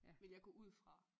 Vil jeg gå ud fra